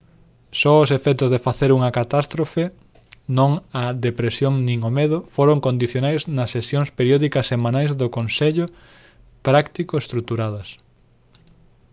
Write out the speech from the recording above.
só os efectos de facer unha catástrofe non a depresión nin o medo foron condicionais nas sesións periódicas semanais de consello práctico estruturadas